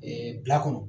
bila kɔnɔ